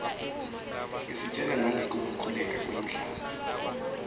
isitjela nangeku khukhuleka kwemhlaba